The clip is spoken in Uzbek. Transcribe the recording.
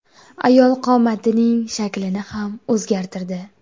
Ayol qomatining shaklini ham o‘zgartirdi.